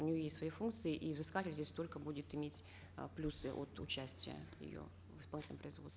у нее есть свои фукнкции и взыскатель здесь только будет иметь э плюсы от участия ее в исполнительном